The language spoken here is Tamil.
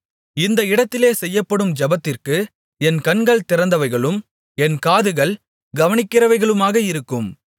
இந்த இடத்திலே செய்யப்படும் ஜெபத்திற்கு என் கண்கள் திறந்தவைகளும் என் காதுகள் கவனிக்கிறவைகளுமாக இருக்கும்